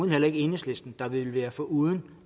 heller ikke enhedslisten der ville være foruden